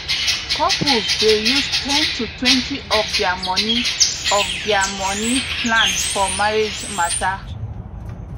couples dey use ten totwentyof their money of their money plan for marriage matter